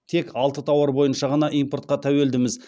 тек алты тауар бойынша ғана импортқа тәуелдіміз